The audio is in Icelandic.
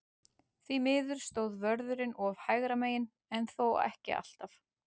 Því miður stóð vörðurinn oft hægra megin, en þó ekki alltaf.